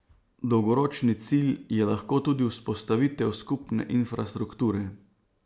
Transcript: Dolgoročni cilj je lahko tudi vzpostavitev skupne infrastrukture.